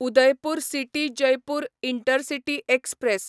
Udaipur city Jaipur intercity express